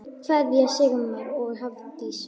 Kveðja, Sigmar og Hafdís.